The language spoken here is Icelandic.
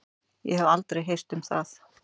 Ég hef aldrei heyrt um það.